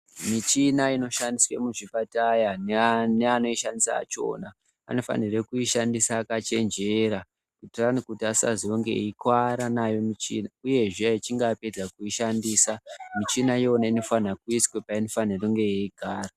Michina inoshandiswe muzvipataya neanoishandisa achona anofanire kuishandisa akachenjera kuitira kuti asazonge eikuvara nayo michini. Uyezve echinge apedza kuishandisa michina iyona inofana kuiswa painenge ichigara..